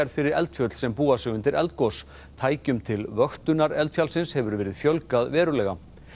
fyrir eldfjöll sem búa sig undir eldgos tækjum til vöktunar eldfjallsins hefur verið fjölgað verulega